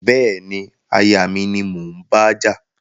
Bẹ́ẹ̀ni, aya and mi ni mò ń bájà